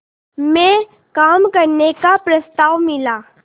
में काम करने का प्रस्ताव मिला